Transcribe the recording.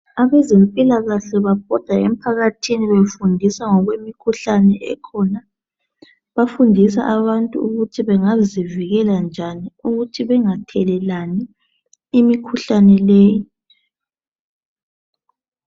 Abezempilakahle babhoda emphakathini befundisa ngokwemikhuhlane ekhona. Bafundisa abantu ukuthi bangazivikela njani ukuthi bangathelelelani imikhuhlane leyi.